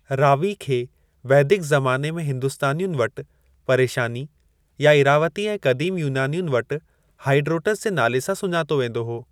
रावी खे वैदिक ज़माने में हिंदुस्तानियुनि वटि परेशानी या इरावती ऐं क़दीम युनानियुनि वटि हाइडरोटस जे नाले सां सुञातो वेंदो हो।